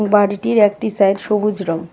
বাড়িটির একটি সাইট সবুজ রং.